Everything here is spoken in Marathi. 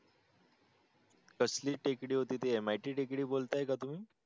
तसली टेकडी होती ते MIT टेकडी बोलताय का तुम्ही?